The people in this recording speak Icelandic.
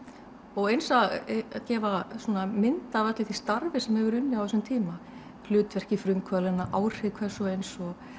og eins að gefa mynd af öllu því starfi sem hefur verið unnið á þessum tíma hlutverki frumkvöðlanna áhrif hvers og eins og